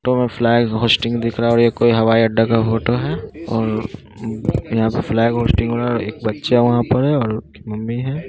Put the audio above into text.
तो flag hoisting दिख रहा है और ये कोई हवाई अड्डा का फोटो है और यहाँ पे फ्लैग होइस्टिंग हो रहा है एक बच्चा वहाँ पर है।